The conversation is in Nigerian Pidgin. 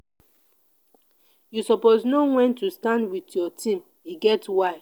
you suppose know wen to stand wit your team e get why.